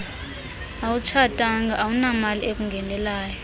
awutshatanga awunamali ekungenelayo